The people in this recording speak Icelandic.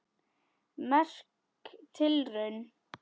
Merk tilraun